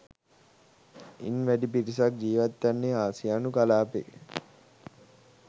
ඉන්වැඩි පිරිසක් ජීවත්වන්නේ ආසියානු කලාපයේ